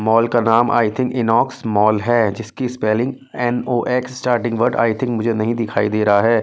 Mall का नाम I think Inox mall है जिसकी spelling N O X starting word I think मुझे नहीं दिखाई दे रहा है।